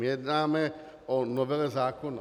My jednáme o novele zákona.